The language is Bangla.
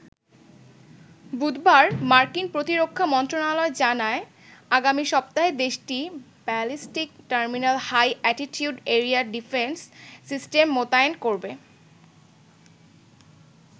বুধবার মার্কিন প্রতিরক্ষা মন্ত্রণালয় জানায়, আগামী সপ্তাহে দেশটি ballistic terminal high altitude area defence system মোতায়েন করবে।